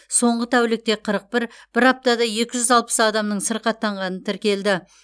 соңғы тәулікте қырық бір бір аптада екі жүз алпыс адамның сырқаттанғаны тіркелді